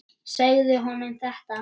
Segja honum þetta?